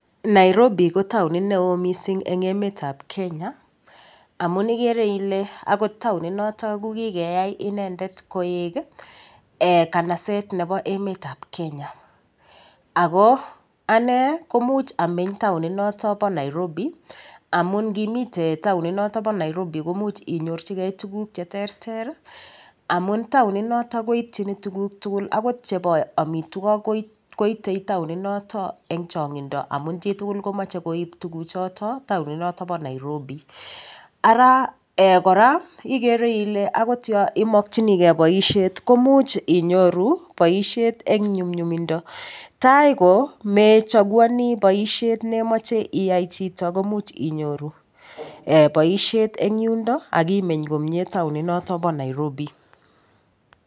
Nairobi ko taonit neo mising' eng' emetab Kenya amun igere ile akot taonit noto ko kikeyai inendet koek kanaset nebo emetab Kenya ako anee komuch ameny taoninoto bo Nairobi amun ngimite taoninoto bo Nairobi komuch inyorchigei tuguk cheterter amun taoninoto koityin tuguk tugul akot chebo omitwok koitei taoninoto eng' chong'indo amun chitugul komochei koib tuguchoto taoninoto bo Nairobi ara kora igere ile akot yo imokchinigei boishet komuch inyoru boishet eng' nyumyumindo tai komechaguoni boishet nemochei iyat chito komuch inyoru boishet eng' yundo akimeny komye taonit noto bo nairobi